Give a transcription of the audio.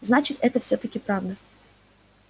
значит это всё-таки правда